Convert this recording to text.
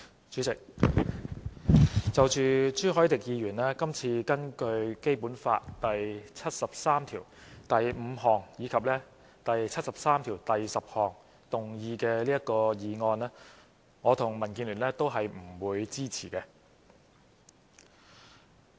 主席，就着朱凱廸議員今次根據《基本法》第七十三條第五項及第七十三條第十項動議的議案，我和民建聯都不會支持。